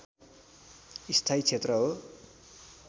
स्थायी क्षेत्र हो